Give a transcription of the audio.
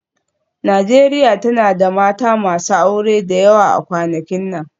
Najeriya tana da mata masu aure da yawa a kwanakin nan